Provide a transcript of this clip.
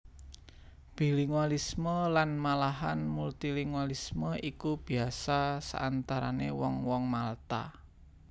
Bilingualisme lan malahan multilingualisme iku biasa saantarané wong wong Malta